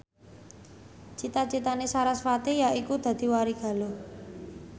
cita citane sarasvati yaiku dadi warigaluh